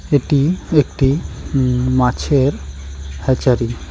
এটি একটি ইম মাছের হ্যাচারি ।